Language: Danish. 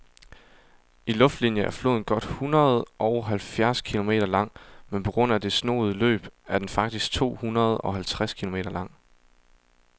I luftlinie er floden godt hundredeoghalvfjerds kilometer lang, men på grund af det snoede løb er den faktisk tohundredeoghalvtreds kilometer lang.